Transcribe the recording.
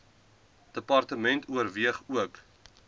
department oorweeg ook